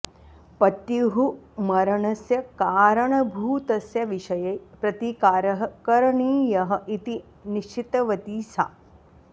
पत्युः मरणस्य कारणभूतस्य विषये प्रतीकारः करणीयः इति निश्चितवती सा